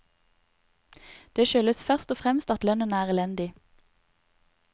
Det skyldes først og fremst at lønnen er elendig.